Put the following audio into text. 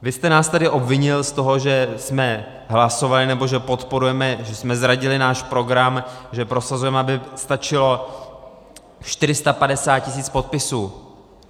Vy jste nás tady obvinil z toho, že jsme hlasovali, nebo že podporujeme, že jsme zradili náš program, že prosazujeme, aby stačilo 450 tisíc podpisů.